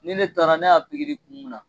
Ni ne taara ne y'a kun mun na.